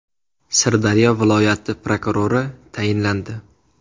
Sirdaryo viloyati prokurori tayinlandi.